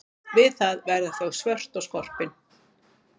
Við það verða þau svört og skorpin.